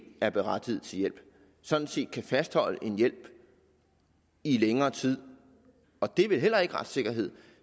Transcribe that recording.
er berettiget til hjælp sådan set kan fastholde en hjælp i længere tid og det er vel heller ikke retssikkerheden